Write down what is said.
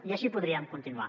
i així podríem continuar